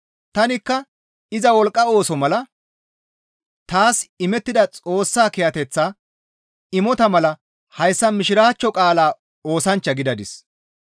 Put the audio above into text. Tanikka iza wolqqa ooso mala taas imettida Xoossa kiyateththa imota mala hayssa Mishiraachcho qaalaa oosanchcha gidadis.